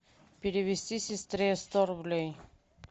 перевести сестре сто рублей